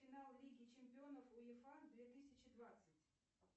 финал лиги чемпионов уефа две тысячи двадцать